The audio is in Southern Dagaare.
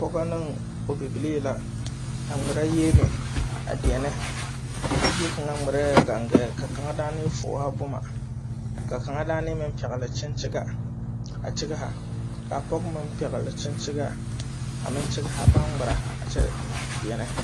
Pɔgɔ ne o bibilii la. A ŋmɛra yieme a diɛne. A bie kanga ŋmɛrɛ gangaɛ. Ka kanga daane fuuha boma. Ka kanga daane meŋ pɛgle kyenkyega a kyegha. Ka a pɔgɔ meŋ pɛgle kyenkyega a meŋ kyegha. Baŋ ŋmɛra a kyɛ diɛne.